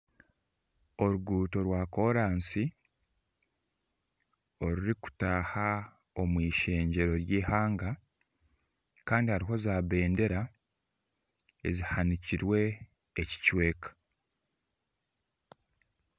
Oruguto rwa kooransi orurikutaaha omw'ishengyero ry'eihanga kandi hariho za bendera ezihanikirwe ekicweka.